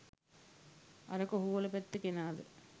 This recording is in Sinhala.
අර කොහුවල පැත්තෙ කෙනාද